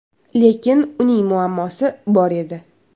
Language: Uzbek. Lekin uning muammosi bor edi.